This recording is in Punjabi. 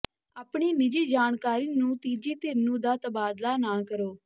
ਆਪਣੀ ਨਿੱਜੀ ਜਾਣਕਾਰੀ ਨੂੰ ਤੀਜੀ ਧਿਰ ਨੂੰ ਦਾ ਤਬਾਦਲਾ ਨਾ ਕਰੋ